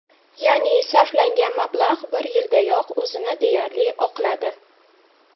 Ya’ni, sarflangan mablag‘ bir yildayoq o‘zini deyarli oqladi.